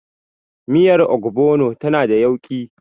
Miyar Ogbono tana da yauƙi.